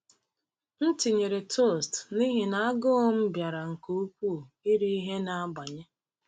M tinyere toast n’ihi na agụụ m bịara nke ukwuu iri ihe na-agbanye.